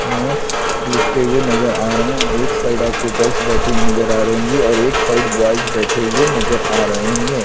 Notes लिखते हुए नजर आ रहे हैं और एक साइड आपको गर्ल्स बैठी हुई नजर आ रही है और एक साइड बॉयज बैठे हुए नजर आ रहे होंगे।